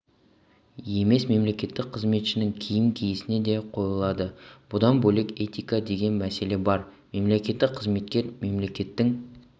емес мемлекеттік қызметшінің киім-киісіне де қойылады бұдан бөлек этика деген мәселе бар мемлекеттік қызметкер мемлекеттің